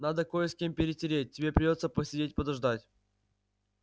надо кое с кем перетереть тебе придётся посидеть подождать